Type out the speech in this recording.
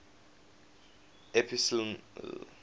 epsilon arietids